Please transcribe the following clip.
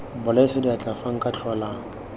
bolaisa diatla fa nka tlhola